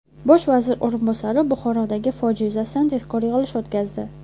Bosh vazir o‘rinbosari Buxorodagi fojia yuzasidan tezkor yig‘ilish o‘tkazdi.